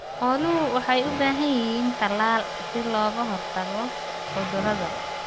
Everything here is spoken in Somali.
Xooluhu waxay u baahan yihiin talaal si looga hortago cudurrada.